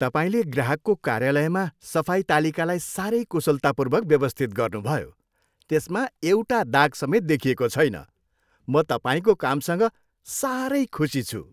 तपाईँले ग्राहकको कार्यालयमा सफाई तालिकालाई साह्रै कुशलतापूर्वक व्यवस्थित गर्नुभयो। त्यसमा एउटा दाग समेत देखिएको छैन। म तपाईँको कामसँग साह्रै खुसी छु।